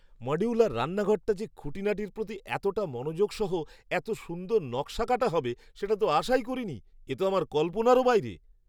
Modular রান্নাঘরটা যে খুঁটিনাটির প্রতি এতটা মনোযোগ সহ এত সুন্দর নকশাকাটা হবে সেটা তো আশাই করিনি! এ তো আমার কল্পনারও বাইরে‌!